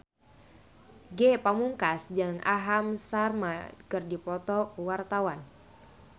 Ge Pamungkas jeung Aham Sharma keur dipoto ku wartawan